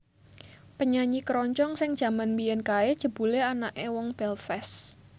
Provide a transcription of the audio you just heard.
Penyanyi keroncong sing jaman mbiyen kae jebule anake wong Belfast